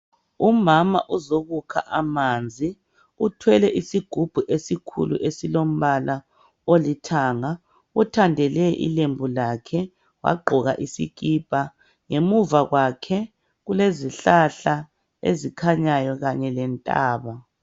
Umama uzokukha amanzi uthwele isigubhu esikhulu esilombala olithanga uthandele ilembu lakhe wagqoka isikipa ngemuva kwakhe kulezihlahla ezikhanyayo kanye lentaba.